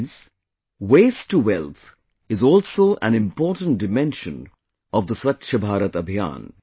Friends, 'Waste to Wealth' is also an important dimension of the Swachh Bharat Abhiyan